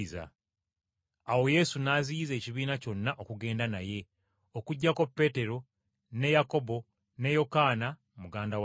Awo Yesu n’aziyiza ekibiina kyonna okugenda naye, okuggyako Peetero ne Yakobo ne Yokaana muganda wa Yakobo.